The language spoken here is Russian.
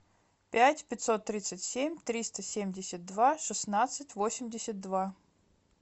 пять пятьсот тридцать семь триста семьдесят два шестнадцать восемьдесят два